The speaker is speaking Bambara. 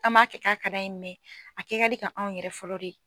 An m'a kɛ k'a ka d'an ye a kɛ ka di ka anw yɛrɛ fɔlɔ de